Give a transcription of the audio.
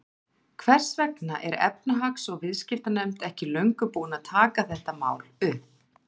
Hvers vegna er efnahags- og viðskiptanefnd ekki löngu búin að taka þetta mál upp?